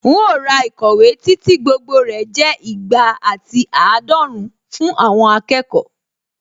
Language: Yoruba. Un ó ra ìkọ̀wé tí tí gbogbo rẹ̀ jẹ́ ìgbà àti àádọ́run fún àwọn akẹ́kọ̀ọ́